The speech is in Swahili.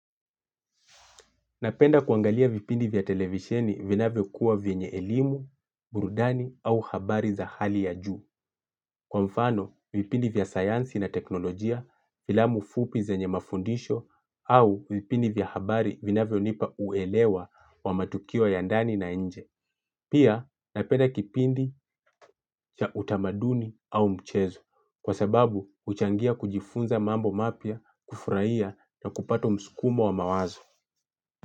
Napenda kuangalia vipindi vya televisheni vinavyokuwa vyenye elimu, burudani au habari za hali ya juu. Kwa mfano, vipindi vya sayansi na teknolojia filamu fupi zenye mafundisho au vipindi vya habari vinavyonipa uelewa wa matukio ya ndani na nje. Pia, napenda kipindi cha utamaduni au mchezo kwa sababu uchangia kujifunza mambo mapya, kufurahia na kupato mskumo wa mawazo.